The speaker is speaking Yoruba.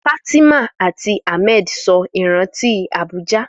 Fatima àti Ahmed sọ ìrántí Abuja.